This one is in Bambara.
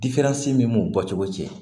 min b'u bɔ cogo cɛ